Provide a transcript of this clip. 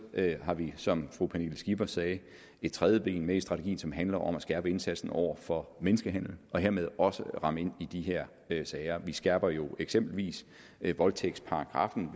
har vi som fru pernille skipper sagde et tredje ben med i strategien som handler om at skærpe indsatsen over for menneskehandel og hermed også ramme ind i de her sager vi skærper jo eksempelvis voldtægtsparagraffen